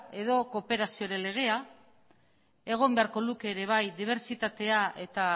edo kooperazioko legea egon beharko luke ere bai dibertsitatea eta